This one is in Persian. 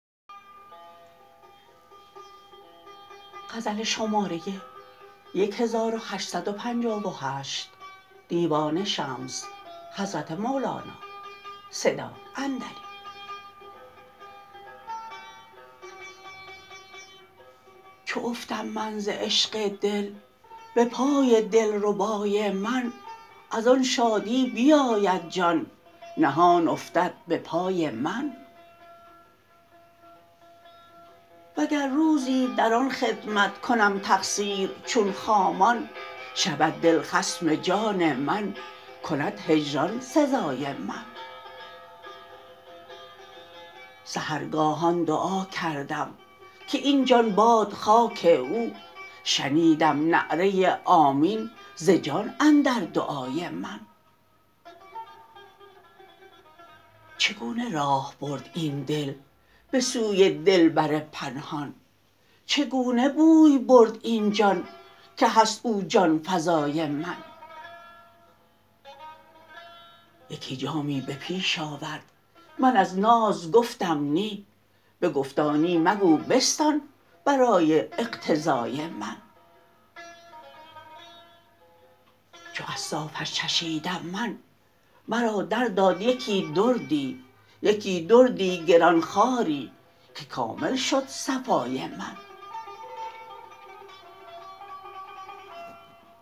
چو افتم من ز عشق دل به پای دلربای من از آن شادی بیاید جان نهان افتد به پای من وگر روزی در آن خدمت کنم تقصیر چون خامان شود دل خصم جان من کند هجران سزای من سحرگاهان دعا کردم که این جان باد خاک او شنیدم نعره آمین ز جان اندر دعای من چگونه راه برد این دل به سوی دلبر پنهان چگونه بوی برد این جان که هست او جان فزای من یکی جامی به پیش آورد من از ناز گفتم نی بگفتا نی مگو بستان برای اقتضای من چو از صافش چشیدم من مرا درداد یک دردی یکی دردی گران خواری که کامل شد صفای من